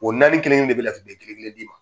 O naani kelen kelen de bɛ na bɛn kelen kelen di ma.